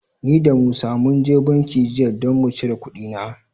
Ni da Musa mun je banki jiya don mu cire kuɗina.